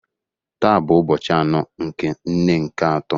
Taa bụ ụbọchị anọ nke nne nke atọ